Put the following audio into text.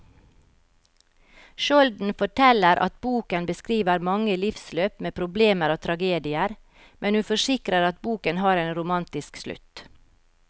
Skjolden forteller at boken beskriver mange livsløp med problemer og tragedier, men hun forsikrer at boken har en romantisk slutt.